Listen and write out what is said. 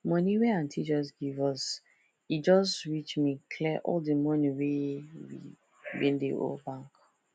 money wey aunty just give us e just reach me clear all the money wey we bin dey owe bak